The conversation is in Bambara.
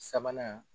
Sabanan